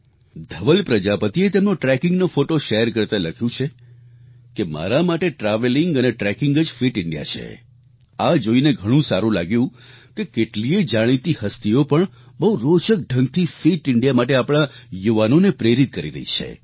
ધવલ પ્રજાપતિએ તેમનો ટ્રેકિંગ નો ફોટો શેર કરતાં લખ્યું છે કે મારા માટે ટ્રાવેલિંગ અને ટ્રેકિંગ જ ફિટ ઇન્ડિયા છે આ જોઈને ઘણું સારું લાગ્યું કે કેટલીયે જાણીતી હસ્તીઓ પણ બહુ રોચક ઢંગથી ફિટ ઈન્ડિયા માટે આપણા યુવાનોને પ્રેરિત કરી રહી છે